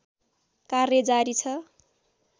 कार्य जारी छ